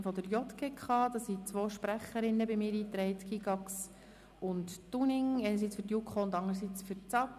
Hierzu sind zwei Sprecherinnen eingetragen: für die JuKo Grossrätin Gygax-Böninger und für die SAK Grossrätin Dunning.